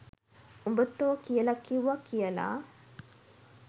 උඹ තෝ කියල කිවුව කියල